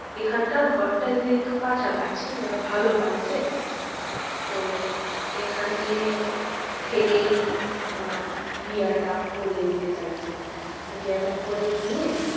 এখানকার ঘরটা যেহেতু কাছাকাছি আর ভালো পাইছে তো এখানে থেকেই আহ বিয়াটা করে নিতে চাইছে। বিয়েটা করে নিয়ে,